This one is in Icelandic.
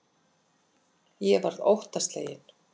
Ég varð óttasleginn.